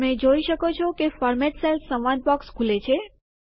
તમે જોઈ શકો છો કે ફોર્મેટ સેલ્સ સંવાદ બોક્સ ખુલે છે